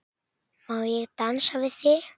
Má ég dansa við þig?